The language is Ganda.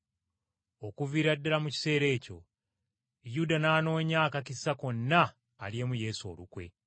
Okuviira ddala mu kiseera ekyo Yuda n’anoonya akakisa konna alyemu Yesu olukwe.